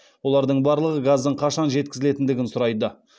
олардың барлығы газдың қашан жеткізілетіндігін сұрайды